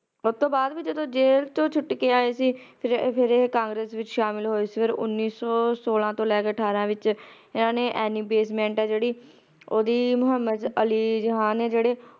ਉਹ ਤੋਂ ਬਾਅਦ ਵੋ ਜਦੋ ਜੇਲ ਤੋਂ ਛੁੱਟ ਕੇ ਆਏ ਸੀ ਫੇਰ ਇਹ congress ਚ ਸ਼ਾਮਲ ਹੋਏ ਸੀ ਫੇਰ ਉੱਨੀ ਸੌ ਸੋਲਾਂ ਤੋਂ ਲੈ ਕੇ ਅਠਾਰਾਂ ਤਕ ਇਹਨਾਂ ਨੇ ਹੈ ਜਿਹੜੀ ਓਹਦੀ ਮੁਹੰਮਦ ਅਲੀ ਰਿਹਾਂ ਨੇ ਜਿਹੜੀ